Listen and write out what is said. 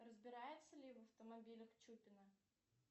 разбирается ли в автомобилях чупина